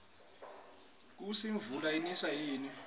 kusi imvula iniswa yini